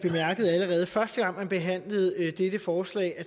første gang man behandlede dette forslag